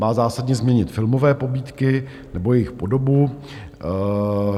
Má zásadně změnit filmové pobídky, nebo jejich podobu.